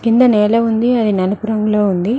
కింద నేల ఉంది అది నలుపు రంగులో ఉంది.